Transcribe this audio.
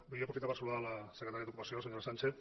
vull aprofitar per saludar la se·cretària d’ocupació senyora sánchez